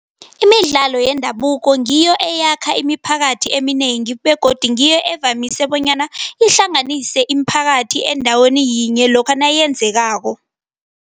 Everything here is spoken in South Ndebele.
Imidlalo yendabuko ngiyo eyakhamba imiphakathi eminengi begodu ngiyo evamise bonyana ihlanganise imiphakathi endaweni yinye lokha nayenzekako.